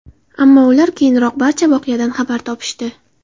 Ammo ular keyinroq barcha voqeadan xabar topishdi.